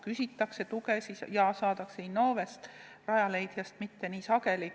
Küsitakse tuge ja saadaksegi Innovest, harvem ka Rajaleidjast.